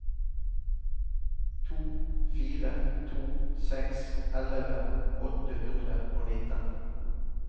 to fire to seks elleve åtte hundre og nitten